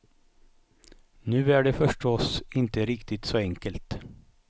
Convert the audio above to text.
Nu är det förstås inte riktigt så enkelt.